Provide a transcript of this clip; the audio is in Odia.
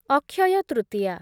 ଅକ୍ଷୟ ତୃତୀୟା